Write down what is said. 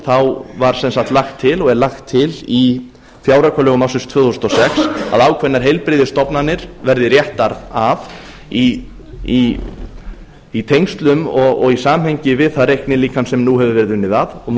þá var sem sagt lagt til og er lagt til í fjáraukalögum ársins tvö þúsund og sex að ákveðnar heilbrigðisstofnanir verði réttar af í tengslum og í samhengi við það reiknilíkan sem nú hefur unnið að má